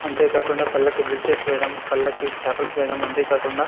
అంతే కాకుండా పళ్ళకి బ్రిడ్జెస్ వేయడం పళ్ళకి స్టాప్లేస్ వేయడం అంతే కాకుండా --